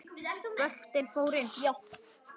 Boltinn fór inn.